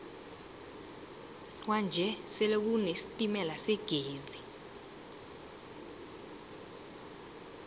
kwanje sele kune sitemala segezi